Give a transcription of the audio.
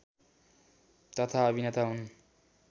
तथा अभिनेता हुन्